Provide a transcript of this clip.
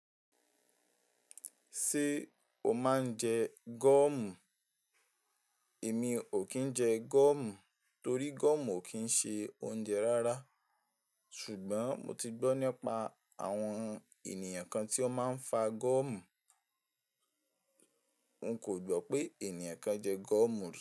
Ṣé o máa ń jẹ gọ́ọ̀mù? Èmi ò kí ń jẹ gọ́ọ̀mù torí gọ́ọ̀mù ò kí ń ṣe oúnjẹ rárá. Ṣùgbọ́n mo ti gbọ́ nípa àwọn ènìyàn kan tí ó máa ń fa gọ́ọ̀mù. Ń kò gbọ́ pé ènìyàn kan jẹ gọ́ọ̀mù rí.